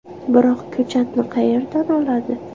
Biroq ko‘chatni qayerdan oladi?